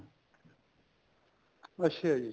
ਅੱਛਾ ਜੀ